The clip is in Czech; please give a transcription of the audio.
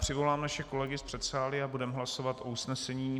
Přivolám naše kolegy z předsálí a budeme hlasovat o usnesení.